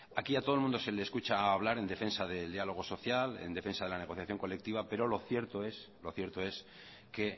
aquí a todo el mundo se le escucha hablar en defensa del diálogo social en defensa de la negociación colectiva pero lo cierto es que